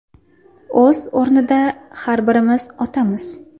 O‘z o‘rnida har birimiz otamiz.